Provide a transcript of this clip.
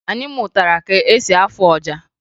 Anyị mụtara ka e si afụ ọja